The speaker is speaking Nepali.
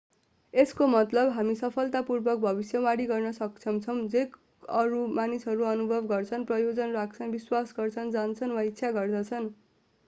यसको मतलब हामी सफलतापूर्वक भविष्यवाणी गर्न सक्षम छौँ जे अरू मानिसहरूले अनुभव गर्छन् प्रयोजन राख्छन् विश्वास गर्छन् जान्छन् वा इच्छा गर्दछन्